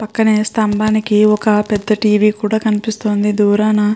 పక్కనే స్థంభానికి ఒక పెద్ద టీ.వీ. కూడ కనిపిస్తుంది దూరాన.